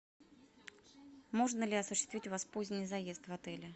можно ли осуществить у вас поздний заезд в отеле